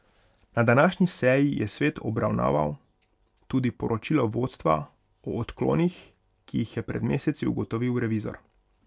Na današnji seji je svet obravnaval tudi poročilo vodstva o odklonih, ki jih je pred meseci ugotovil revizor.